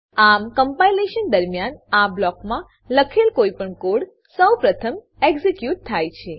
આમ કમ્પાઈલેશન દરમ્યાન આ બ્લોકમાં લખેલ કોઈપણ કોડ સૌ પહેલા એક્ઝીક્યુટ થાય છે